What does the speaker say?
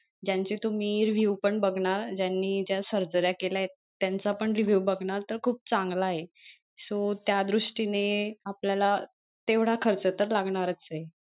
ज्यांचे तुम्ही review बघनार ज्यांनी ज्या सर्जऱ्या केल्यात त्यांचा पण review बघणार तर खूप चांगला आहे so त्या दृष्टीने आपल्याला तेवढा खर्च तर लागनारचे.